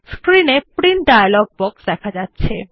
screen এ print dialog box দেখা যাচ্ছে